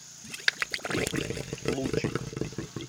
лучик